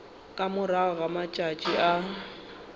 ka morago ga matšatši a